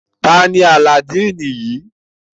Tani Alladini yii?